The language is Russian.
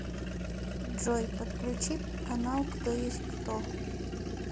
джой подключи канал кто есть кто